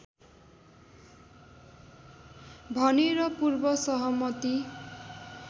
भनेर पूर्वसहमति